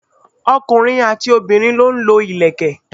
ọkùnrin àti obìnrin lọ ń lo ìlẹ̀kẹ̀.